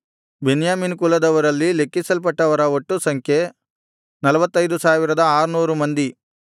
ಬೆನ್ಯಾಮೀನ್ ಕುಲದವರಲ್ಲಿ ಲೆಕ್ಕಿಸಲ್ಪಟ್ಟವರ ಒಟ್ಟು ಸಂಖ್ಯೆ 45600 ಮಂದಿ